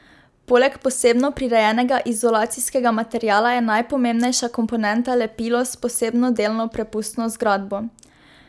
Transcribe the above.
Poleg posebno prirejenega izolacijskega materiala je najpomembnejša komponenta lepilo s posebno delno prepustno zgradbo.